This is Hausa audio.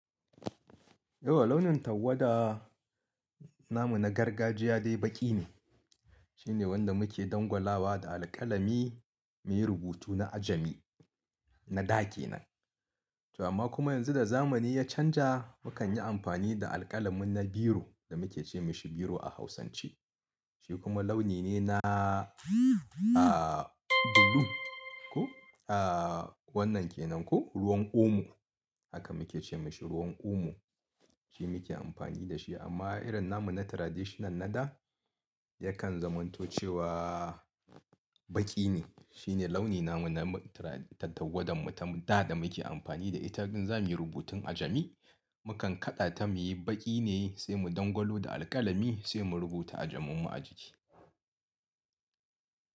Yauwa launin tawwada namu na gargajiya dai baki ne. Shine wanda muke dangwalawa da alƙalami muyi rubutu na ajami na da ke nan. Amma kuma yanzu da zamani ya canja, mu kan yi amfani da alƙalamin na biro da muke ce mashi biro a Hausance. Shi kuma launi ne na, a, blue. Ko, a, wannan ke nan ko ruwan omo. Haka muke ce mashi ruwan omo. Shi muke amfani da shi amma irin namu na traditional na da yakan zamanto cewa baki ne. Shine launi namu na tawwadanmu ta da da muke amfani da ita in za muyi rubutun ajami. Mukan kaɗata muyi baƙi ne sai mu dangwalo da alkalami sai mu rubuta ajamin mu a jiki.